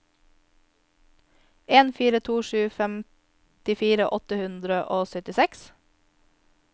en fire to sju femtifire åtte hundre og syttiseks